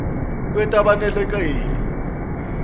kwetabenakeli